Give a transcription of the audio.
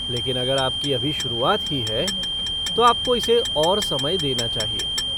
लेकिन अगर आपकी अभी शुरुआत ही है तो आपको इसे और समय देना चाहिए।